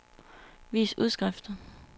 vis udskrift